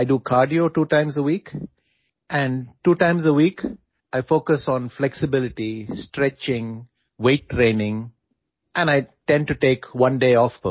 میں ہفتے میں دو بار یوگا کرتا ہوں، میں ہفتے میں دو بار کارڈیو کرتا ہوں، میں لچک، اسٹریچنگ، وزن کی تربیت پر توجہ دیتا ہوں اور میں ہفتے میں ایک دن کی چھٹی لیتا ہوں